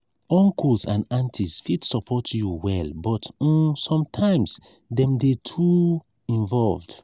uncles and aunties fit support you well but um sometimes dem dey too involved.